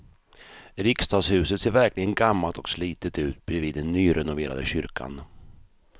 Riksdagshuset ser verkligen gammalt och slitet ut bredvid den nyrenoverade kyrkan.